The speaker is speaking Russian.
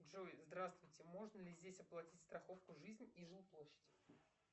джой здравствуйте можно ли здесь оплатить страховку жизнь и жилплощадь